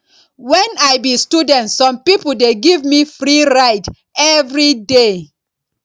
wen i be student some pipo dey give me free ride everyday